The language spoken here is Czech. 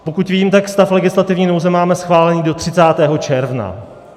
Pokud vím, tak stav legislativní nouze máme schválený do 30. června.